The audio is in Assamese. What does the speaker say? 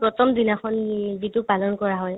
প্ৰথম দিনাখন উম যিটো পালন কৰা হয়